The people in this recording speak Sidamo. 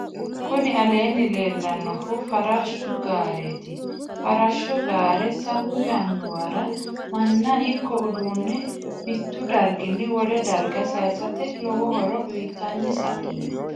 kuni aleenni leellannohu farrashu gareeti. farrashu gaare sa'u yannuwara manna ikko udduunne mittu darginni wole darga sayisate lowo horo uyitanni sa'ino.